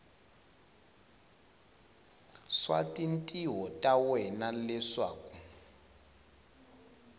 swa tintiho ta wena leswaku